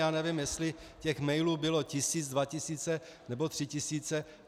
Já nevím, jestli těch mailů bylo tisíc, dva tisíce nebo tři tisíce.